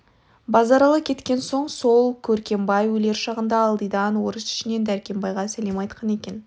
базаралы кеткен соң сол көр-кембай өлер шағында ылдидан орыс ішінен дәркембайға сәлем айтқан екен